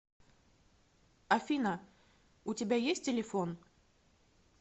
афина у тебя есть телефон